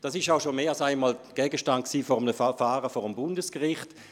Dies war schon mehr als einmal Gegenstand eines Verfahrens vor dem Bundesgericht.